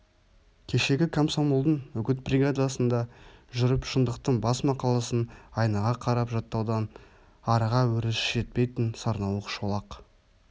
кешегі комсомолдың үгіт бригадасында жүріп шындықтың бас мақаласын айнаға қарап жаттаудан арыға өресі жетпейтін сарнауық шолақ